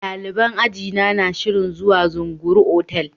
Daliban ajina na shirin zuwa Zunguru otal.